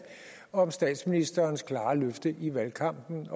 om statsministerens klare løfte i valgkampen